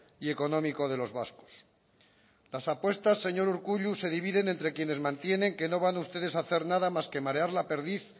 y económico de los vascos las apuestas señor urkullu se dividen entre quienes mantienen que no van a ustedes a hacer nada más que marear la perdiz